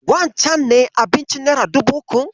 Wancen ne abincin nera dubu ukun?